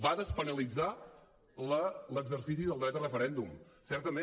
va despenalitzar l’exercici del dret a referèndum certament